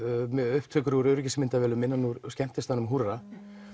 upptökur úr öryggismyndavélum skemmtistaðarins húrra